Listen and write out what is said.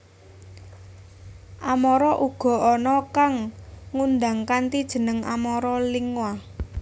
Amara uga ana kang ngundang kanthi jeneng Amara Lingua